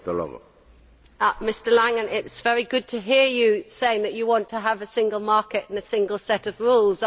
Mr Langen, it is very good to hear you saying that you want to have a single market and a single set of rules.